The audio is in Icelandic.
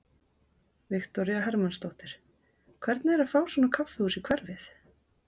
Viktoría Hermannsdóttir: Hvernig er að fá svona kaffihús í hverfið?